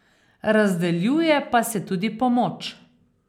Razdeljuje pa se tudi pomoč.